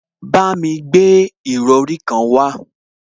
Bámi gbé ìrọrí kan wá